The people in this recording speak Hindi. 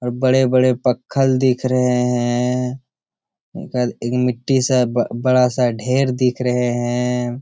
और बड़े-बड़े पक्खल दिख रहे हैं ओके बाद एक मिट्टी-सा ब-बड़ा-सा ढेर दिख रहे हैं।